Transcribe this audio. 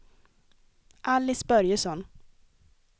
Alice Börjesson